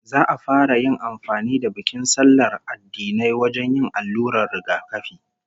Za'a fara yin amfani da bikin sallar addinai wajen yin allurar rigakafi